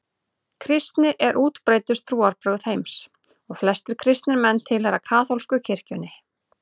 Kristni er útbreiddustu trúarbrögð heims og flestir kristnir menn tilheyra kaþólsku kirkjunni.